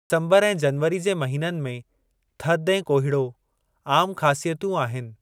डिसम्बरु ऐं जनवरी जे महीननि में थधि ऐं कोहीड़ो आमु ख़ासियतूं आहिनि।